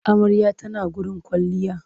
Amarya ta na gurin kwailliya.